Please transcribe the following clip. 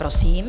Prosím.